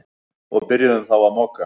Og byrjuðum þá að moka.